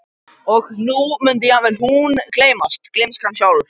Og nú mundi jafnvel hún gleymast, gleymskan sjálf.